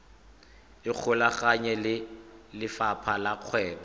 ikgolaganye le lefapha la kgwebo